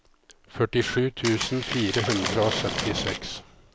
førtisju tusen fire hundre og syttiseks